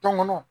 Tɔŋɔnɔ